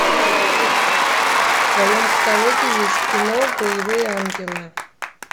в твоем каталоге есть кино боевые ангелы